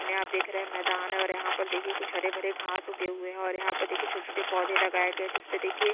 सामने आप देख रहे है मैदान है और यहाँ पर देखिये कुछ हरे-भरे घास उगे हुए है और यहाँ पर देखिये छोटे-छोटे पौधे लगाए गए है जिस पे देखिये--